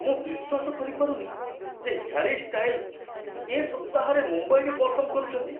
ମୁଁ ବିଶ୍ୱାସ କରିପାରୁନି ଯେ ହ୍ୟାରି ଷ୍ଟାଇଲ୍ସ ଏ ସପ୍ତାହରେ ମୁମ୍ବାଇରେ ପରଫର୍ମ କରୁଛନ୍ତି।